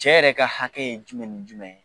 Cɛ yɛrɛ ka hakɛ ye jumɛn ni jumɛn ye ?